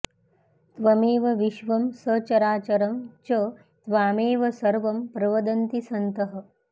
त्वमेव विश्वं सचराचरं च त्वामेव सर्वं प्रवदन्ति सन्तः